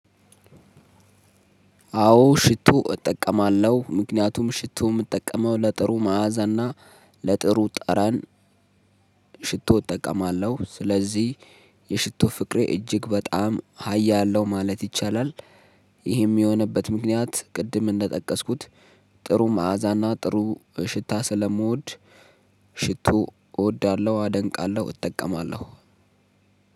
አዎ ሽቶ እጠቀማለሁ ምክንያቱም ሽቶ የምጠቀመው ለጥሩ መዓዛ እና ለጥሩ ጠረን ሽቶ እጠቀማለሁ ስለዚህ የሽቶ ፍቅሬ እጅግ በጣም ሀያል ነው ማለት ይቻላል። ይህም የሆነበት ምክንያት ቅድም እንደጠቀስኩት ጥሩ መዓዛና ጥሩ ሽታ ስለምወድ ሽቶ እወዳለሁ አደንቃለሁ። እጠቀማለሁ